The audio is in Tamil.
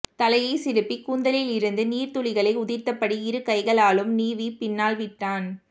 தலையை சிலுப்பி கூந்தலிலிருந்து நீர்த்துளிகளை உதிர்த்தபடி இருகைகளாலும் நீவி பின்னால் விட்டான்